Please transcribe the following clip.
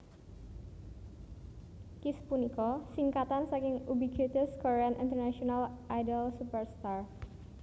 Kiss punika singkatan saking Ubiquitous Korean International Idol Super Star